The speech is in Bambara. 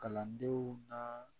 Kalandenw na